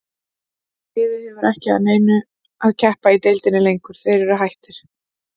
Liðið hefur ekki að neinu að keppa í deildinni lengur, eru þeir hættir?